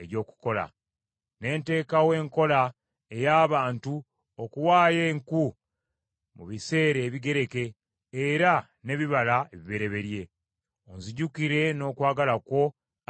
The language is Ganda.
Ne nteekawo enkola ey’abantu okuwaayo enku mu biseera ebigereke, era n’ebibala ebibereberye. Onzijukire n’okwagala kwo Ayi Katonda wange.